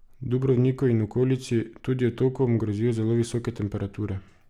Dubrovniku in okolici, tudi otokom, grozijo zelo visoke temperature.